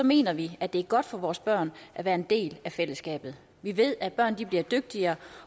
mener vi at det er godt for vores børn at være en del af fællesskabet vi ved at børn bliver dygtigere